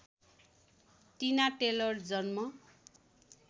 टिना टेलर जन्म